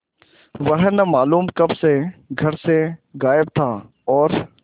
वह न मालूम कब से घर से गायब था और